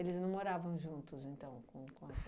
não moravam juntos então com o quan?